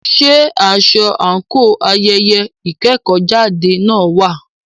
Ṣé aṣọ àńkò ayẹyẹ ìkẹ́kọ̀jáde náà wà?